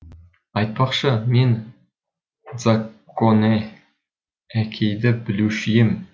айтпақшы мен дзакконе әкейді білуші ем